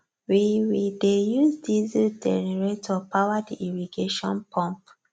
we we dey use diesel generator power the irrigation pump